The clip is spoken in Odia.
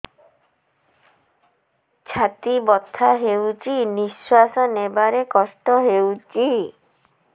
ଛାତି ବଥା ହଉଚି ନିଶ୍ୱାସ ନେବାରେ କଷ୍ଟ ହଉଚି